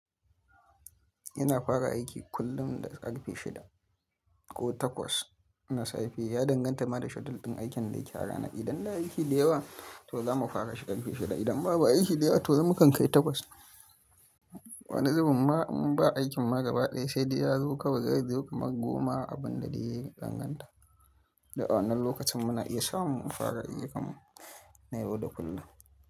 Ina fara aiki kullum da ƙarfe shida ko takwas na safe. Ya danganta ma da schedule ɗin aikin da yake arana. Idan da aiki da yawa to za mu fara shi ƙarfe shida, idan babu aiki da yawa to mukan kai takwas. Wani zuben ma in ba aikin ma gaba ɗaya sai dai ya zo kawai zai zo kamar goma abin da dai danganta. Da awannan lokacin muna iya samu mu fara ayukanmu na yau da kullum.